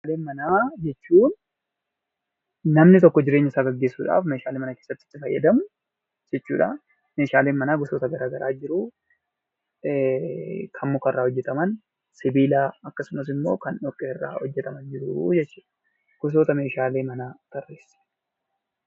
Meeshaalee manaa jechuun namni tokko jireenya isaa gaggeessuudhaf mana keessatti kan itti fayyadamuu jechuudha. Meeshaaleen mana gosoota garagaraatu jiru kanneen muka irraa hojjetaman kanneen sibiila irraa hojjetaman kanneen dhoqqee irraa hojjetaman ta'uu danda'u.